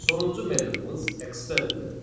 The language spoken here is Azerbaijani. Sonuncu metodumuz extend metodudur.